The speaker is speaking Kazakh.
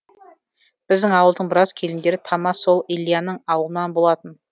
біздің ауылдың біраз келіндері тама сол ильяның аулынан болатын